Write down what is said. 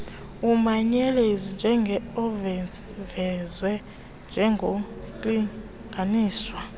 umanyelenzi uvezwe njengornlinganiswa